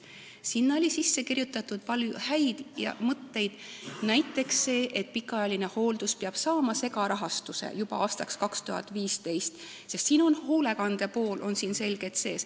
Sinna oli sisse kirjutatud palju häid mõtteid, näiteks see, et pikaajaline hooldus peab saama segarahastuse juba aastaks 2015, sest seal on ka hoolekandepool selgelt sees.